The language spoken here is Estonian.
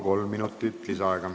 Kolm minutit lisaaega.